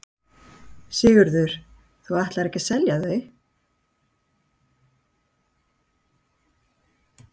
Sigríður: Og þú ætlar ekki að selja þau?